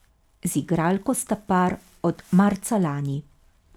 Z igralko sta par od marca lani.